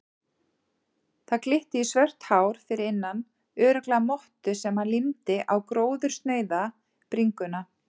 Það glitti í svört hár fyrir innan, örugglega mottu sem hann límdi á gróðursnauða bringuna.